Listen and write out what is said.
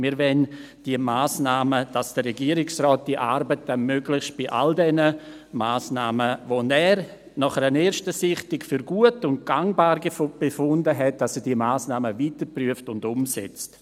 Wir wollen bei diesen Massnahmen, dass der Regierungsrat möglichst bei allen, die er nach einer ersten Sichtung für gut und gangbar befunden hat, die Arbeiten weiterprüft und umsetzt.